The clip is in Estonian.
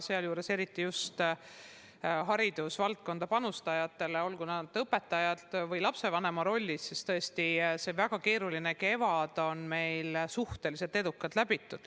Sealjuures eriti just haridusvaldkonda panustajatele, olgu nad õpetajad või lapsevanemad – tõesti, see väga keeruline kevad on meil suhteliselt edukalt läbitud.